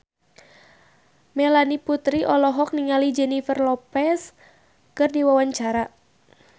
Melanie Putri olohok ningali Jennifer Lopez keur diwawancara